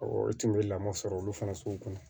e tun bɛ lamɔ sɔrɔ olu fana sugu kun